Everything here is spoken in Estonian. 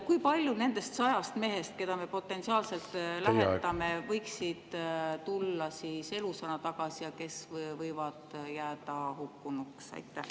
Kui paljud nendest sajast mehest, keda me potentsiaalselt lähetame, võiksid tulla elusana tagasi ja võivad hukkuda?